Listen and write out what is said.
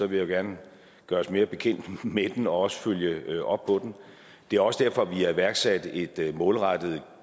vil jeg gerne gøres mere bekendt med den og også følge op på den det er også derfor vi har iværksat et et målrettet